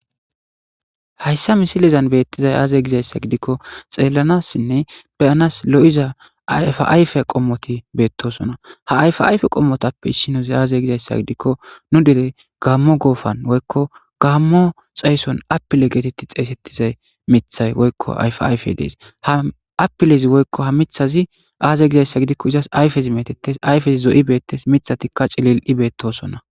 Hayssa misilizan beettizay aaze gizayssa gidikko xeellanassinne beyanas lo'iza afayfe qommoti beettosona ha ayf ayfe qommotappe issinozi aaze gizayssa gidikko nu dere gaammo goofan woykko gaammo xaysson apile geetetti xeeysettizay mithay woykko yf ayfe dees ha apilezi woykko ha mithazi aaze gizayssa gidikko izas ayfezi metettes ayfez zo'i beettes mithatikka cilil'i beettosona